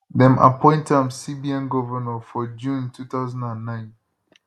dem appoint am cbn govnor for june 2009